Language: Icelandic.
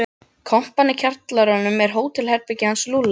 Kompan í kjallaranum er hótelherbergið hans Lúlla.